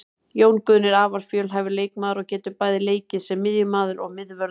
Jón Guðni er afar fjölhæfur leikmaður og getur bæði leikið sem miðjumaður og miðvörður.